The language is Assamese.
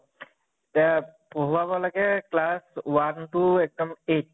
তে পঢ়োৱাব লাগে class one to এক্দম eight